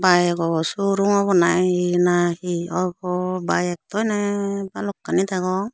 byk aw suo rum obo na hi na hi obo byk daw ane balokkani degong.